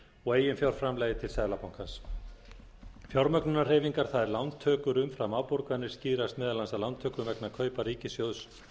og eiginfjárframlagi til seðlabankans fjármögnunarhreyfingar það er lántökur umfram afborganir skýrast meðal annars af lántöku vegna kaupa ríkissjóðs